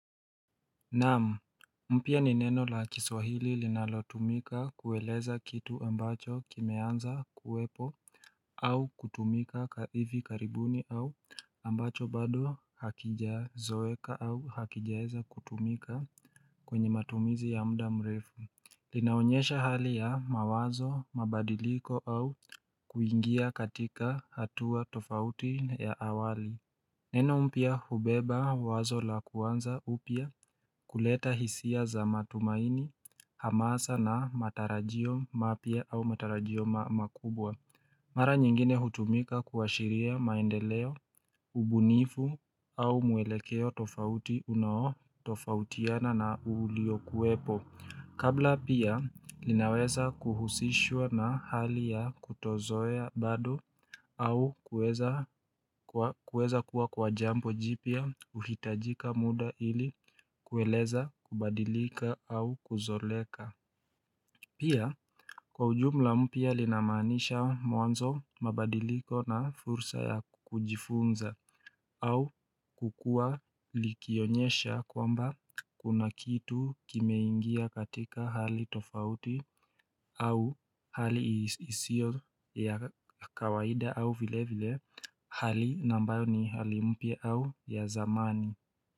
Naamu, mpya ni neno la chiswahili linalatumika kuweleza kitu ambacho kimeanza kuwepo au kutumika ka hivi karibuni au ambacho bado hakijazoeka au hakijaeza kutumika kwenye matumizi ya mda mrefu linaonyesha hali ya mawazo, mabadiliko au kuingia katika hatua tofauti ya awali Neno mpya hubeba wazo la kuanza upya kuleta hisia za matumaini hamasa na matarajio mapia au matarajio makubwa Mara nyingine hutumika kuashiria maendeleo, ubunifu au muelekeo tofauti unao tofautiana na uulio kuepo Kabla pia linaweza kuhusishwa na hali ya kutozoya bado au kueza kuwa kwa jambo jipia uhitajika muda ili kueleza kubadilika au kuzoleka Pia kwa ujumla mpia linamanisha mwanzo mabadiliko na fursa ya kujifunza au kukua likionyesha kwamba Kuna kitu kimeingia katika hali tofauti au hali isio ya kawaida au vile vile Hali nambayo ni hali mpya au ya zamani.